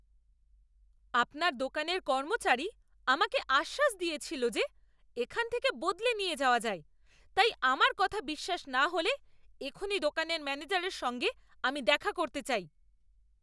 আপনার দোকানের কর্মচারী আমাকে আশ্বাস দিয়েছিল যে এখান থেকে বদলে নিয়ে যাওয়া যায়, তাই আমার কথা বিশ্ৱাস না হলে এক্ষুণি দোকানের ম্যানেজারের সঙ্গে আমি দেখা করতে চাই।